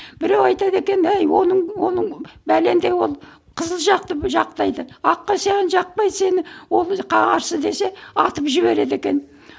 біреу айтады екен ей оның оның бәлендей ол қызыл жақты жақтайды аққа саған жақпайды сені ол қарсы десең атып жібереді екен